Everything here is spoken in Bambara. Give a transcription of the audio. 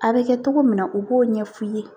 A bɛ kɛ togo min na u b'o ɲɛ f'u ye